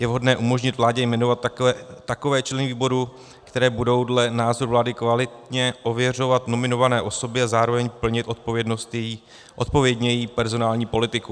Je vhodné umožnit vládě jmenovat takové členy výboru, které (?) budou dle názoru vlády kvalitně ověřovat nominované osoby a zároveň plnit odpovědně její personální politiku.